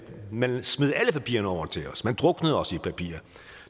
man smed alle papirerne over til os man druknede os i papirer og